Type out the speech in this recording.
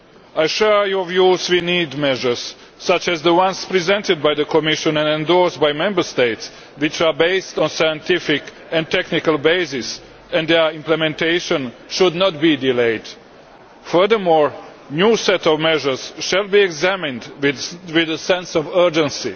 I share your views that we need measures, such as the ones presented by the Commission and endorsed by the Member States, which are based on scientific and technical bases. Their implementation should not be delayed. Furthermore, a new set of measures will be examined with a sense of urgency.